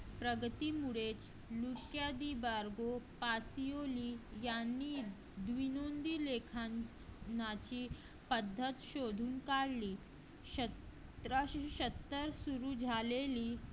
प्रगती मुळेच यांनी लेखनाची पद्धत शोधून काढली सतराशे सत्तर सुरू झालेली.